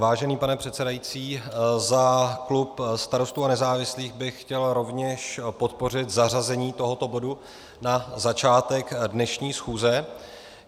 Vážený pane předsedající, za klub Starostů a nezávislých bych chtěl rovněž podpořit zařazení tohoto bodu na začátek dnešní schůze.